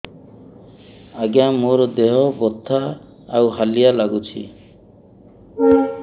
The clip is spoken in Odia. ଆଜ୍ଞା ମୋର ଦେହ ବଥା ଆଉ ହାଲିଆ ଲାଗୁଚି